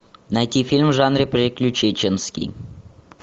найти фильм в жанре приключенческий